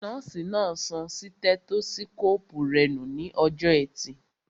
Nọ́ọ̀sì náà sọ sítẹ́tósíkóòpù rẹ nù ní ọjọ́ọ ẹtì